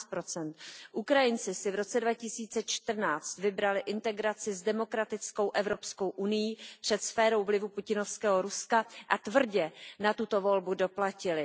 13 Ukrajinci si v roce 2014 vybrali integraci s demokratickou Evropskou unií před sférou vlivu putinovského Ruska a tvrdě na tuto volbu doplatili.